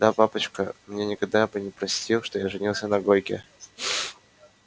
да папочка мне никогда бы не простил что я женился на гойке